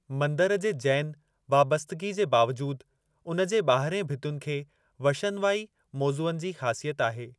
मंदरु जे जैन वाबस्तगी जे बावजूदि, उन जे ॿाहिरिएं भितियुन खे वशनवाई मोज़ुअनि जी ख़ासियत आहे।